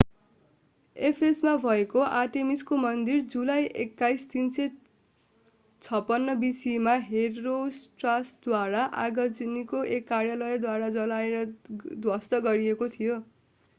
एफेससमा भएको आर्टेमिसको मन्दिर जुलाई 21 356 bce मा हेरोस्ट्राटसद्वारा आगजनीको एक कार्यद्वारा जलाएर ध्वस्त गरिएको थियो